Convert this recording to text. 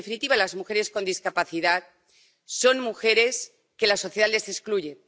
en definitiva, las mujeres con discapacidad, son mujeres que la sociedad excluye.